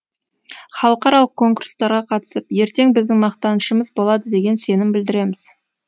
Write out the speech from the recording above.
халықаралық конкурстарға қатысып ертең біздің мақтанышымыз болады деген сенім білдіреміз